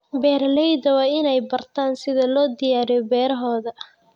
Beeraleydu waa inay bartaan sida loo diyaariyo beerahooda.